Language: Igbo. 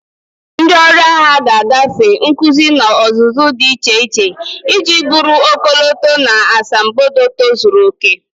Ndị ọrụ agha ga-agafe nkuzi na ọzụzụ dị iche iche iji bụrụ ọkọlọtọ na asambodo tozuru oke.